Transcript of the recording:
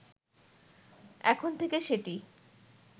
এখন থেকে সেটি